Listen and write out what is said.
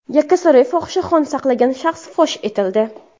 Yakkasaroyda fohishaxona saqlagan shaxs fosh etildi.